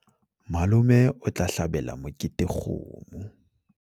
malome o tla hlabela mokete kgomo